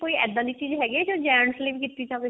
ਕੋਈ ਇੱਦਾਂ ਦੀ ਚੀਜ਼ ਹੈਗੀ ਹਿਆ ਜੋ gents ਲਈ ਕੀਤੀ ਜਾਵੇ